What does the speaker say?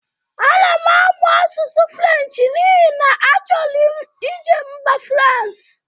A na-amụ asụsụ Frenchị n'ihi na a chọrọ m ije mba Fransị.